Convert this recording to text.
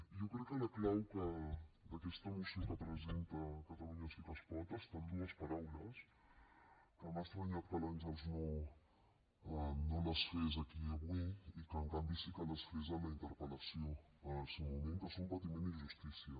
jo crec que la clau d’aquesta moció que presenta catalunya sí que es pot està en dues paraules que m’ha estranyat que l’àngels no les fes aquí avui i que en canvi sí que les fes a la interpel·lació en el seu moment que són patiment i justícia